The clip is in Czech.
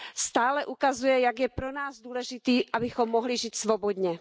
Stále ukazuje, jak je pro nás důležitý, abychom mohli žít svobodně.